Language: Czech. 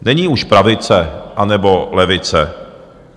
Není už pravice nebo levice.